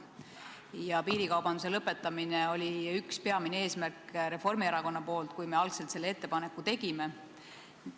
Ja piirikaubanduse lõpetamine oli üks Reformierakonna peamine eesmärk, kui me algselt selle ettepaneku tegime.